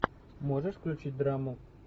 можешь включить драму